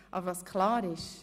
Was aber klar ist: